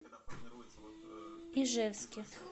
ижевске